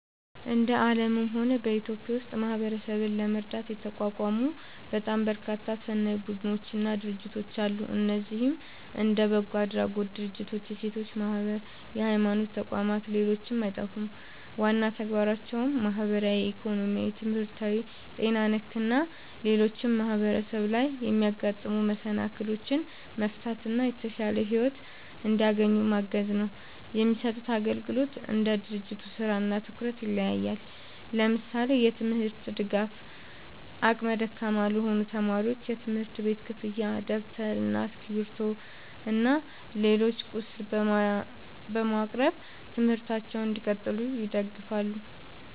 እንደ አለምም ሆነ በኢትዮጵያ ውስጥ ማህበረሰብን ለመርዳት የተቋቋሙ በጣም በርካታ ሰናይ ቡድኖች እና ድርጅቶች አለ። እነዚህም እንደ በጎ አድራጎት ድርጅቶች፣ የሴቶች ማህበራት፣ የሀይማኖት ተቋም ሌሎችም አይጠፉም። ዋና ተግባራቸውም ማህበራዊ፣ ኢኮኖሚያዊ፣ ትምህርታዊ፣ ጤና ነክ እና ሌሎችም ማህበረሰብ ላይ የሚያጋጥሙ መሰናክሎችን መፍታት እና የተሻለ ሒወት እንዲያገኙ ማገዝ ነው። የሚሰጡት አግልግሎት እንደ ድርጅቱ ስራ እና ትኩረት ይለያያል። ለምሳሌ፦ የትምርት ድጋፍ አቅመ ደካማ ለሆኑ ተማሪዎች የትምህርት ቤት ክፍያ ደብተር እና እስክሪብቶ እና ሌላም ቁስ በማቅረብ ትምህርታቸውን እንዲቀጥሉ ይደግፋሉ